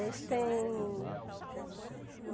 Isso tem